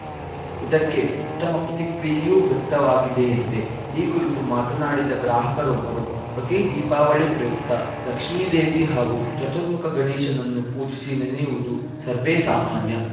ಇದಕ್ಕೆ ಉತ್ತಮ ಪ್ರತಿಕ್ರಿಯೆಯೂ ವ್ಯಕ್ತವಾಗಿದೆಯಂತೆ ಈ ಕುರಿತು ಮಾತನಾಡಿದ ಗ್ರಾಹಕರೊಬ್ಬರು ಪ್ರತೀ ದೀಪಾವಳಿ ಪ್ರಯುಕ್ತ ಲಕ್ಷ್ಮಿ ದೇವಿ ಹಾಗೂ ಚತುರ್ಮುಖ ಗಣೇಶನನ್ನು ಪೂಜಿಸಿ ನೆನೆಯುವುದು ಸರ್ವೇಸಾಮಾನ್ಯ